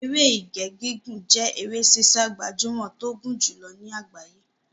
Eré Ìje gígùn jẹ́ eré sísá gbajúmọ̀ tó gùn jùlọ ní àgbáyé.